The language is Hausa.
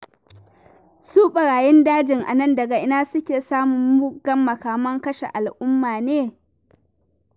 Su ɓarayin dajin nan, daga ina suke samun muggan makaman kashe al'umma ne?